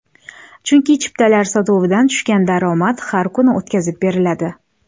Chunki chiptalar sotuvidan tushgan daromad har kuni o‘tkazib beriladi.